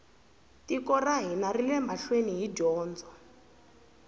tiko ra hina rile mahlweni hi dyondzo